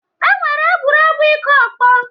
E nwere egwuregwu ịkụ ọkpọ.